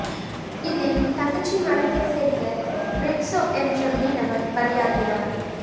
இதில் தங்கச்சி மடத்தைச் சேர்ந்த பிரிட்சோ என்ற மீனவர் பலியாகினார்